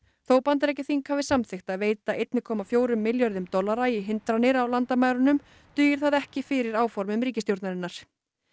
þótt Bandaríkjaþing hafi samþykkt að veita einum komma fjóra milljarða dollara í hindranir á landamærunum dugir það ekki fyrir áformum ríkisstjórnarinnar